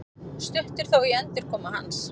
Stutt er þó í endurkomu hans